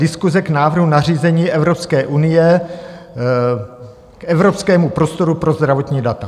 Diskuse k návrhu nařízení Evropské unie k Evropskému prostoru pro zdravotní data.